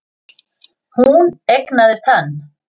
Hún eignaðist hann.